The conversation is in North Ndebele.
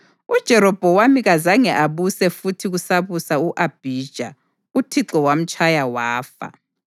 UJerobhowamu kazange abuse futhi kusabusa u-Abhija. UThixo wamtshaya wafa.